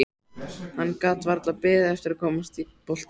Hann gat varla beðið eftir að komast í boltann.